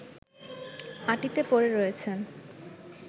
মাটিতে পড়ে রয়েছেন